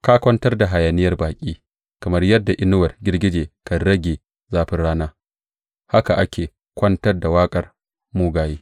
Ka kwantar da hayaniyar baƙi; kamar yadda inuwar girgije kan rage zafin rana, haka ake kwantar da waƙar mugaye.